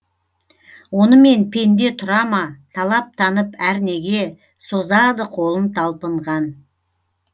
онымен пенде тұрама талаптанып әрнеге созады қолын талпынған